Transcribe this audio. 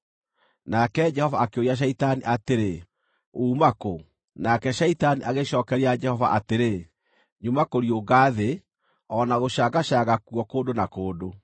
Nake Jehova akĩũria Shaitani atĩrĩ, “Uuma kũ?” Nake Shaitani agĩcookeria Jehova atĩrĩ, “Nyuma kũriũnga thĩ, o na gũcangacanga kuo kũndũ na kũndũ.”